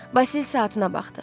Vasil saatına baxdı.